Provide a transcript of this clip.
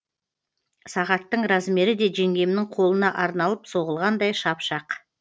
сағаттың размері де жеңгемнің қолына арналып соғылғандай шап шақ